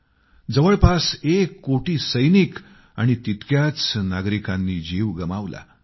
अंदाजानुसार जवळपास एक कोटी सैनिक आणि तितक्याच नागरिकांनी जीव गमावले